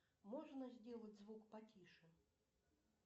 можно сделать звук потише